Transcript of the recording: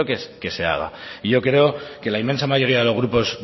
que se haga y yo creo que la inmensa mayoría de los grupos